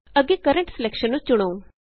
ਅੱਗੇ current selection ਨੂੰ ਚੁਣੋ